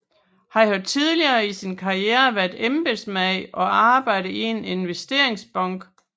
Han har tidligere i sin karriere været embedsmand og arbejdet i en investeringsbank